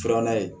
Filanan ye